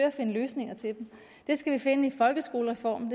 at finde løsninger til dem det skal vi finde i folkeskolereformen